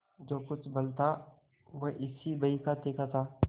जो कुछ बल था वह इसी बहीखाते का था